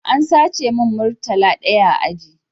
An sace mun murtala ɗaya a aji